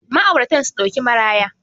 ma'auratan su dauki maraya